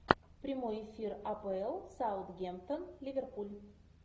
прямой эфир апл саутгемптон ливерпуль